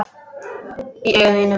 Í augum þínum.